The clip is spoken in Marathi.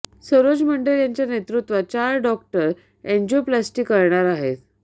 सरोज मंडल यांच्या नेतृत्वात चार डाॅक्टर अॅंजियोप्लास्टी करणार आहेत